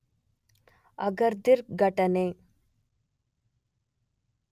Agadir ಘಟನೆ